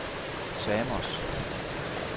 Samos